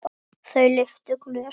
Þau lyftu glösum.